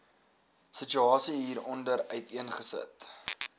situasie hieronder uiteengesit